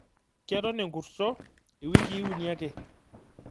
Ketoon ee nkurto iwikii uni ake.